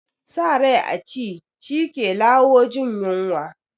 Sa rai a ci, shi ke lawo jin yunwa